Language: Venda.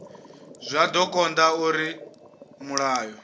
zwa do konda uri mulayo